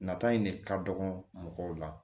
Nata in ne ka dɔgɔn mɔgɔw la